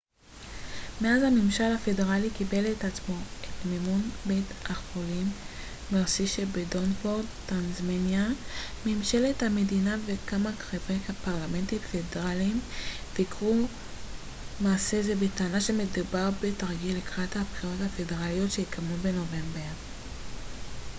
מאז שהממשל הפדרלי קיבל על עצמו את מימון בית החולים מרסי שבדבונפורט טסמניה ממשלת המדינה וכמה חברי פרלמנט פדרליים ביקרו מעשה זה בטענה שמדובר בתרגיל לקראת הבחירות הפדרליות שיתקיימו בנובמבר